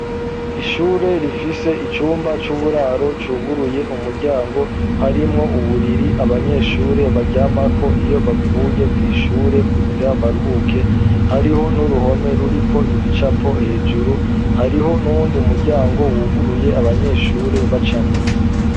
Ishure rifise icumba c'uburaro cuguruye umuryango, harimwo uburiri abanyeshure baryamako iyo bavuye kw'ishure, kugira baruhuke, hariho n'uruhome ruriko ibicapo, hejuru hariho n'uyundi muryango wuguruye abanyeshure bacamwo.